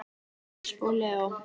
Ösp og Leó.